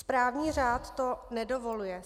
Správní řád to nedovoluje.